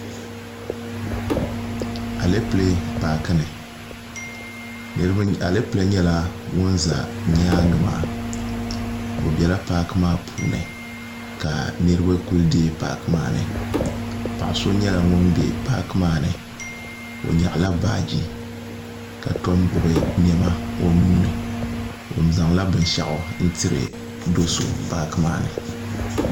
alɛpilɛ paaki ni alɛpilɛ nyɛla ŋun ʒɛ nyaangi maa o biɛla paaki maa puuni ka niraba ku deei paaki maa ni paɣa si nyɛla ŋun bɛ paaki maa ni o nyaɣala baaji ka tom gbubi niɛma o nuuni o zaŋla binshaɣu n tiri do so paaki maa ni